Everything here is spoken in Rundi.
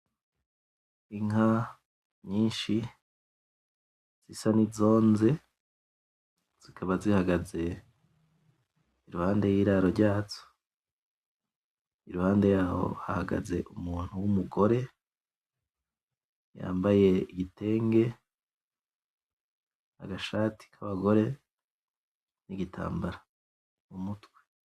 Inka nyinshi zisa nizonze zikaba zihagaze iruhande y'iraro ryazo iruhande yaho hahagaze umuntu wumugore yambaye igitenge nagashati kabagore nigitambara mumutwe